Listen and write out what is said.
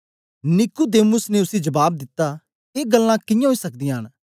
Nicodemus ने उसी जबाब दिता ए गल्लां कियां ओई सकदीयां न